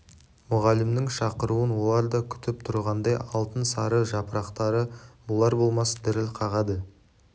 мұғалімнің шақыруын олар да күтіп тұрғандай алтын сары жапырақтары болар-болмас діріл қағады